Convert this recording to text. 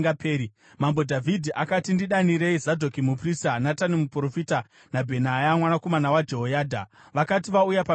Mambo Dhavhidhi akati, “Ndidanirei Zadhoki muprista, Natani muprofita naBhenaya mwanakomana waJehoyadha.” Vakati vauya pamberi pamambo,